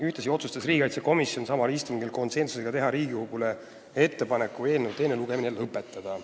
Ühtlasi otsustas riigikaitsekomisjon samal istungil teha Riigikogule ettepaneku teine lugemine lõpetada.